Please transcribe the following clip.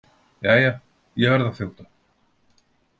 Jæja, ég verð að þjóta.